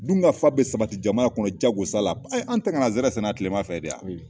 Dunkafa bɛ sabati jamana kɔnɔ jagosa la an tɛ kan ka nsɛrɛ sɛnɛ tilema fɛ de yan